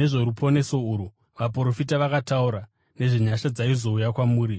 Nezvoruponeso urwu, vaprofita vakataura nezvenyasha dzaizouya kwamuri,